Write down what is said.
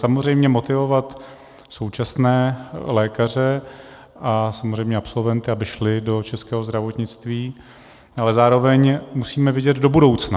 Samozřejmě motivovat současné lékaře a samozřejmě absolventy, aby šli do českého zdravotnictví, ale zároveň musíme vidět do budoucna.